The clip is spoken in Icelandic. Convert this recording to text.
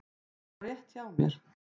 Hún var rétt hjá mér.